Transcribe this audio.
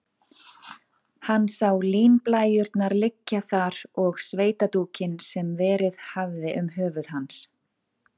Hann sá línblæjurnar liggja þar og sveitadúkinn, sem verið hafði um höfuð hans.